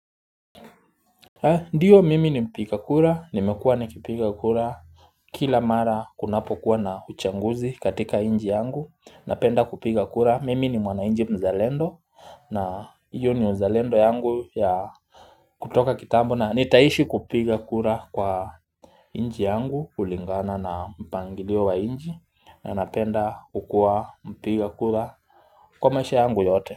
Ndiyo mimi ni mpiga kura, nimekuwa nikipiga kura kila mara kunapokuwa na uchaguzi katika nchi yangu, napenda kupiga kura, mimi ni mwananchi mzalendo na hiyo ni uzalendo yangu ya kutoka kitabu na nitaishi kupiga kura kwa nchi yangu, kulingana na mpangilio wa nchi, na napenda kukuwa mpiga kura kwa maisha yangu yote.